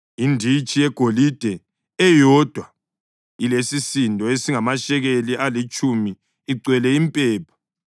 inditshi yegolide eyodwa elesisindo esingamashekeli alitshumi, igcwele impepha;